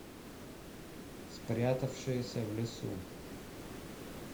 спрятавшаяся в лесу